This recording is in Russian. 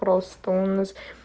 просто у нас